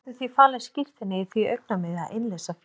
Ég hefði því falið skírteinið í því augnamiði að innleysa féð.